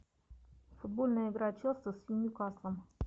футбольная игра челси с ньюкаслом